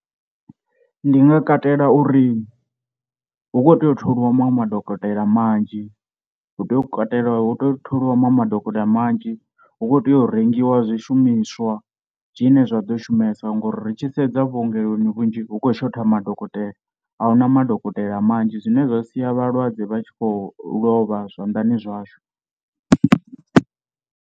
Ndi nga katela uri hu khou tea u tholiwa maṅwe madokotela manzhi, hu tea u katela hu tea u tholiwa manwe madokotela manzhi, hu kho tea u rengiwa zwishumiswa zwine zwaḓo shumesa ngori ri tshi sedza vhuongeloni vhunzhi hu khou shotha madokotela a huna madokotela manzhi, zwine zwa sia vhalwadze vha tshi khou lovha zwanḓani zwashu.